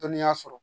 Dɔnniya sɔrɔ